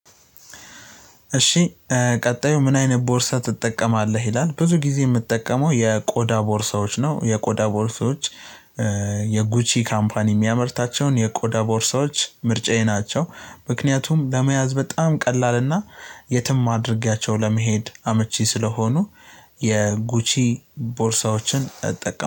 እሺ ቀጣዩ ምን አይነት ቦርሳ ትጠቀማለህ ይላል? ብዙ ጊዜ የምትጠቀመው የቆዳ ቦርሳዎች ነው። የቆዳ ቦርሳዎች የጉቺ ካምፓኒ የሚያመርታቸውን የቆዳ ቦርሳዎች ምርጫዬ ናቸው። ምክንያቱም ለመያዝ በጣም ቀላልና የትም አድርጌያቸው ለመሄድ አመቺ ስለሆኑ። የጉቺ ቦርሳዎችን እጠቀም